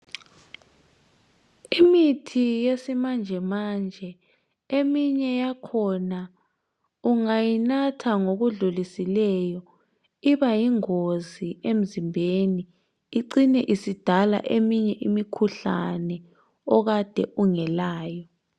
Imithi yesimanjemanje eminye yakhona ungayinatha ngokudluliseyo iba yingozi emzimbeni icine isidala eminye imikhuhlane okade ungelayo.